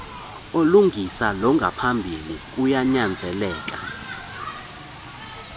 olungisa longaphambili kuyanyanzeleka